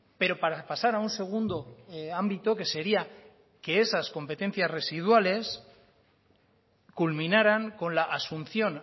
pero para pasar a un segundo ámbito que sería que esas competencias residuales culminaran con la asunción